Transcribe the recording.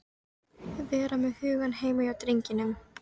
Vera með hugann heima hjá drengnum.